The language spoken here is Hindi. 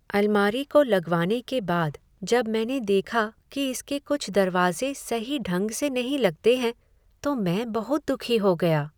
अलमारी को लगवाने के बाद जब मैंने देखा कि इसके कुछ दरवाजे सही ढंग से नहीं लगते हैं तो मैं बहुत दुखी हो गया।